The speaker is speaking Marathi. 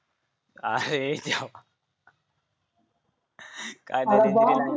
अरे देवा काय